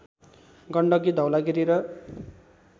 गण्डकी धवलागिरी र